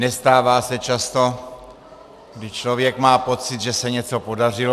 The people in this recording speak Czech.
Nestává se často, kdy člověk má pocit, že se něco podařilo.